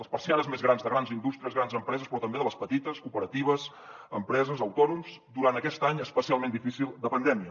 les persianes més grans de grans indústries grans empreses però també de les petites cooperatives empreses autònoms durant aquest any especialment difícil de pandèmia